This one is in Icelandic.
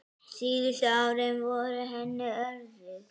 Síðustu árin voru henni örðug.